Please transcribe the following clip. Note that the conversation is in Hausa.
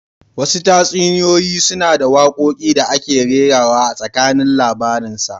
Wasu tatsuniyoyi suna da wakoki da aka rera a tsakanin labarinsa